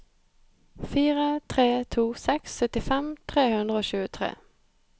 fire tre to seks syttifem tre hundre og tjuetre